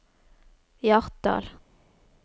Hjartdal